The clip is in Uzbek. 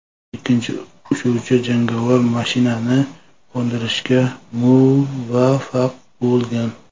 Ikkinchi uchuvchi jangovar mashinani qo‘ndirishga muvaffaq bo‘lgan.